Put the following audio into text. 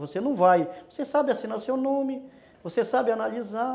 Você não vai, você sabe assinar o seu nome, você sabe analisar,